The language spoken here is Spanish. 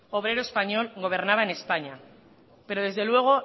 obrero español gobernaba en españa pero desde luego